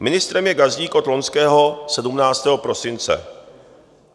Ministrem je Gazdík od loňského 17. prosince.